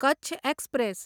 Kutch express